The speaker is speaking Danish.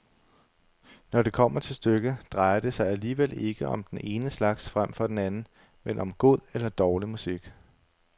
Når det kommer til stykket, drejer det sig alligevel ikke om den ene slags frem for den anden, men om god eller dårlig musik.